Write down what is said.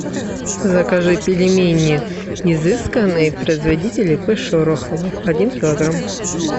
закажи пельмени изысканные производитель ип шорохова один килограмм